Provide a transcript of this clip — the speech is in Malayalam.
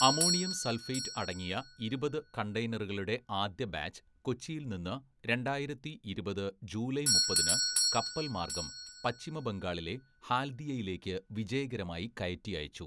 അമോണിയം സൾഫേറ്റ് അടങ്ങിയ ഇരുപത്‌ കണ്ടെയ്നറുകളുടെ ആദ്യ ബാച്ച് കൊച്ചിയിൽ നിന്ന് രണ്ടായിരത്തി ഇരുപത് ജൂലൈ മുപ്പതിന്‌ കപ്പൽ മാർഗ്ഗം പശ്ചിമ ബംഗാളിലെ ഹാൽദിയയിലേക്ക് വിജയകരമായി കയറ്റി അയച്ചു.